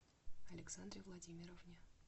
александре владимировне